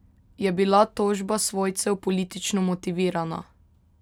Je bila tožba svojcev politično motivirana?